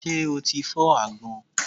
Ṣé o ti fọ́ àgbọn?